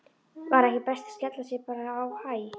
Var ekki best að skella sér bara á Hæ?